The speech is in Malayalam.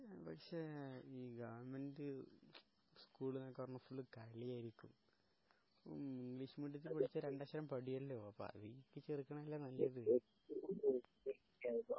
പക്ഷേ പക്ഷേ ഈ ഗവൺമെന്റ് സ്കൂളിലൊക്കെ പറയുമ്പോ ഫുൾ കളിയായിക്കു അപ്പോ ഇംഗ്ലീഷ് മീഡിയത്തില് പടിച്ചാല് രണ്ടക്ഷരം പടയുമല്ലോ അതിക്ക് ചേർക്കണതല്ലേ നല്ലത്